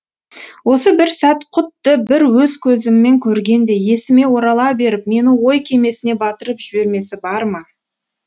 осы бір сәт құдды бір өз көзіммен көргендей есіме орала беріп мені ой кемесіне батырып жібермесі бар ма